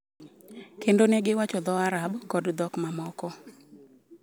Kendo ne giwacho dho Arab kod dhok mamoko.